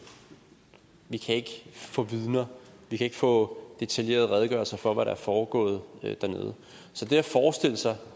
vi kan ikke få vidner vi kan ikke få detaljerede redegørelser for hvad der er foregået dernede så det at forestille sig